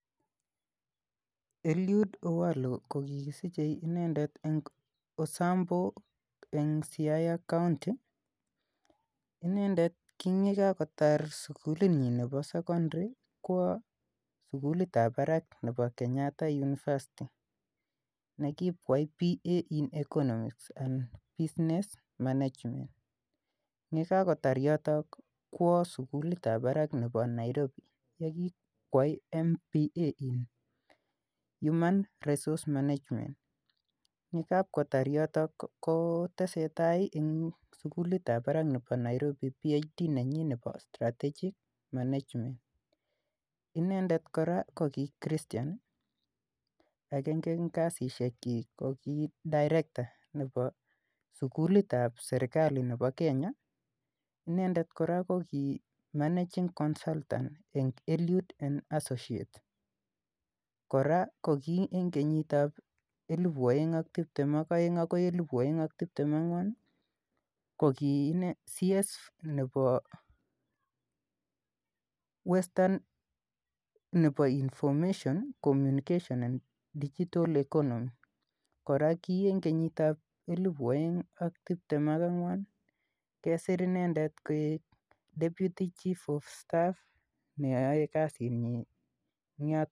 Eliud Owalo ko kikisichei inendet eng Osambo, eng Siaya Kaonti. Inendet kingokakotar sugulinyin nebo sekondary kwo sugulitab barak nebo Kenyatta University. Nekip koyai BA in economics and Business Management. Yekagotar yoto kwo sugulitab barak nebo Nairobi yekipkwai MBA in Human Resource Management. Yekaipkotar yoto kotesetai eng sugulitab barak nebo Nairobi BHD nenyin nebo Strategic Management. Inendet kora ko ki christian agenge eng kasisiekyik ko ki Direkta eng sugulitab sergali nebo Kenya. Inendet kora ko ki Managing Consultant en Eliud and Associate. Kora ko koki eng kenyitab 2022-2024 ko ki CS nebo Western nebo Information, Communication and Digital Economy. Kora ki eng kenyitab 2024 kesir inendet koek Deputy Chief Of Staff neyoe kasitnyin eng yon.